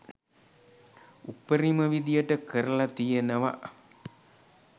උපරිම විදියට කරල තියනව